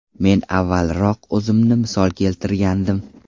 Men avvalroq o‘zimni misol keltirgandim.